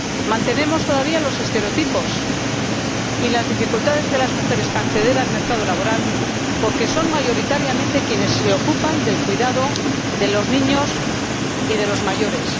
Mantenemos todavía los estereotipos y persisten las dificultades de las mujeres para acceder al mercado laboral, porque son mayoritariamente ellas quienes se ocupan del cuidado de los niños y de los mayores.